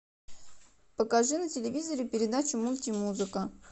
покажи на телевизоре передачу мульти музыка